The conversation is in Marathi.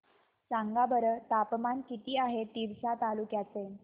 सांगा बरं तापमान किती आहे तिवसा तालुक्या चे